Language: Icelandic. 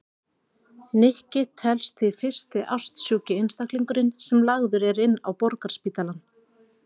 Nikki telst því fyrsti ástsjúki einstaklingurinn sem lagður er inn á Borgarspítalann.